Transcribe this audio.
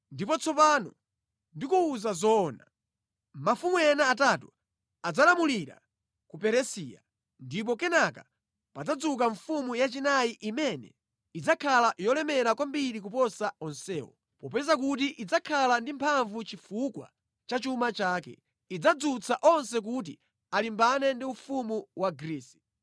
“Ndipo tsopano ndikuwuza zoona: Mafumu ena atatu adzalamulira ku Peresiya, ndipo kenaka padzadzuka mfumu yachinayi imene idzakhala yolemera kwambiri kuposa onsewo. Popeza kuti idzakhala ndi mphamvu chifukwa cha chuma chake, idzadzutsa onse kuti alimbane ndi ufumu wa Grisi.